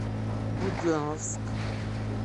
буденновск